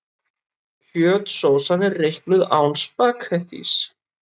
Kjötsósan er reiknuð án spaghettís.